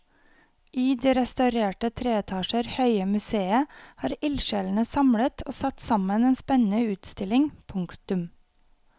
I det restaurerte tre etasjer høye museet har ildsjelene samlet og satt sammen en spennende utstilling. punktum